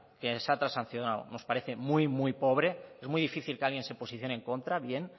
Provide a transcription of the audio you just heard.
que se ha transaccionado nos parece muy muy pobre es muy difícil que alguien se posicione en contra bien